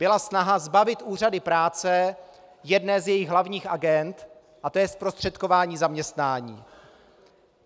Byla snaha zbavit úřady práce jedné z jejich hlavních agend a to je zprostředkování zaměstnání.